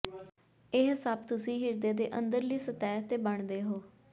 ਇਹ ਸਭ ਤੁਸੀਂ ਹਿਰਦੇ ਦੇ ਅੰਦਰਲੀ ਸਤਹ ਤੇ ਬਣਦੇ ਹੋ